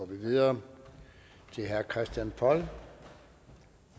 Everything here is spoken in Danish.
vi videre til herre christian poll